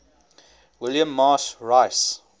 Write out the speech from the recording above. william marsh rice